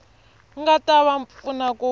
nga ta va pfuna ku